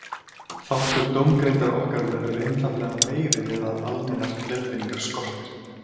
Þáttur dómgreindar okkar verður einfaldlega meiri við að almennar leiðbeiningar skortir.